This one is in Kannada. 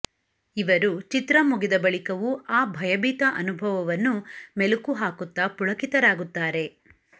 ಇವರು ಚಿತ್ರ ಮುಗಿದ ಬಳಿಕವೂ ಆ ಭಯಭೀತ ಅನುಭವವನ್ನು ಮೆಲುಕು ಹಾಕುತ್ತಾ ಪುಳಕಿತರಾಗುತ್ತಾರೆ